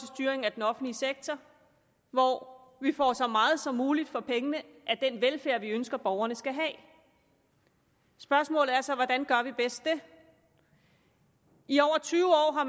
styring af den offentlige sektor hvor vi får så meget som muligt for pengene af den velfærd vi ønsker borgerne skal have spørgsmålet er så hvordan gør vi bedst det i over tyve år